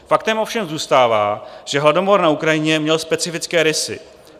Faktem ovšem zůstává, že hladomor na Ukrajině měl specifické rysy.